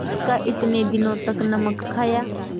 जिसका इतने दिनों तक नमक खाया